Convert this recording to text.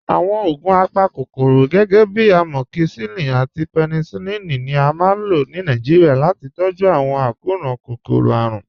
Awọn ogun apákokòró, gẹgẹ̀bí amọkíṣilín àti pẹ̀nísílín, ni à máa n lọ̀ ní Nàìjíríà láti tọ̀jú awọn akọran kókòró-árùn.